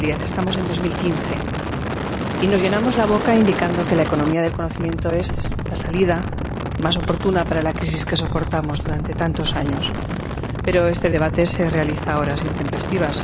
2010. Estamos en 2015 y nos llenamos la boca indicando que la economía del conocimiento es la salida más oportuna para la crisis que soportamos durante tantos años, pero este debate se realiza a horas intempestivas.